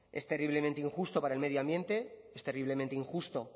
es terriblemente injusto para el medio ambiente es terriblemente injusto